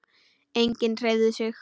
Enginn hreyfði sig.